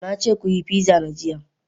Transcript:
Na ce ku yi pizza na jiya.